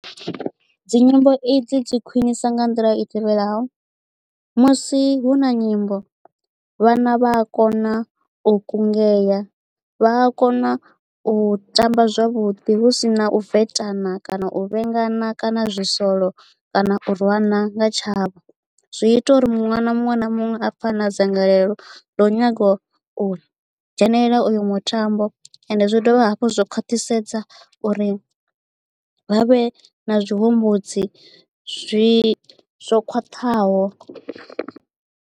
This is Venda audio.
Dzi nyimbo i dzi dzi khwinisa nga nḓila i tevhelaho musi hu na nyimbo vhana vha a kona u kungea vha a kona u tamba zwavhuḓi hu si na u vetana kana u vhengana kana zwi solo kana u rwana nga tshavho zwi ita uri ṅwana muṅwe na muṅwe na muṅwe a pfhe a na dzangalelo ḽo nyaga u dzhenelela uyo mutambo and zwi dovha hafhu zwa khwaṱhisedza uri vha vhe na tshihumbudzi zwi zwo khwaṱhaho.